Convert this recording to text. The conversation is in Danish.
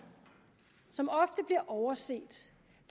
som ofte bliver overset